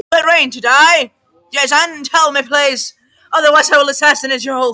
Jason, mun rigna í dag?